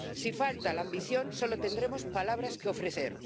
Si falta la ambición solo tendremos palabras que ofrecer.